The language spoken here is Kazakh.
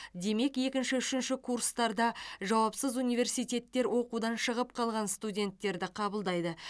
демек екінші үшінші курстарда жауапсыз университеттер оқудан шығып қалған студенттерді қабылдайды